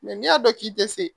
Mɛ n'i y'a dɔn k'i tɛ se